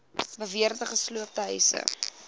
beweerde gesloopte huise